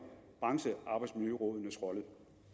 branchearbejdsmiljørådenes rolle